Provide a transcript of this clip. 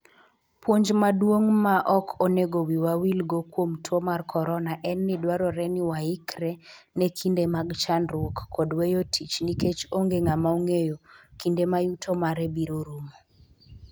Puonj maduong' ma ok onego wiwa wilgo kuom tuo mar Corona en ni dwarore ni waikre ne kinde mag chandruok kod weyo tich nikech onge ng'ama ong'eyo kinde ma yuto mare biro rumo.